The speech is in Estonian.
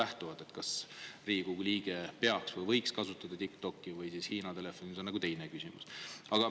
See, kas Riigikogu liige peaks või võiks kasutada TikTokki või Hiina telefoni, on nagu teine küsimus.